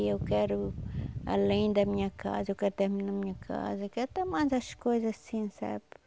E eu quero, além da minha casa, eu quero terminar a minha casa, quero até mais as coisas assim, sabe?